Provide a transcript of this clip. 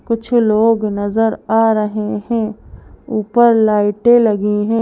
कुछ लोग नजर आ रहे हैं ऊपर लाइटें भी लगी है।